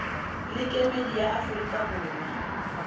le kemedi ya aforika borwa